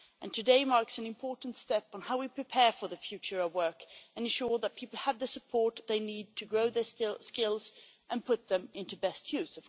Today marks an important step on how we prepare for the future of work and ensure that people have the support they need to grow their skills and put them to best use.